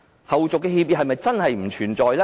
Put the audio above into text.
後續協議是否真的不存在？